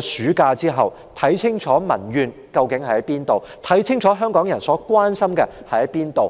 暑假過後，看清楚民怨，看清楚香港人關心甚麼。